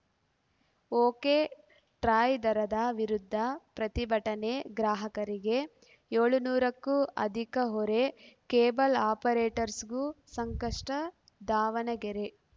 ಒಕೆಟ್ರಾಯ್‌ ದರದ ವಿರುದ್ಧ ಪ್ರತಿಭಟನೆ ಗ್ರಾಹಕರಿಗೆ ಏಳುನೂರಕ್ಕೂ ಅಧಿಕ ಹೊರೆ ಕೇಬಲ್‌ ಆಪರೇಟರ್‍ಸ್ಗೂ ಸಂಕಷ್ಟ ದಾವಣಗೆರೆ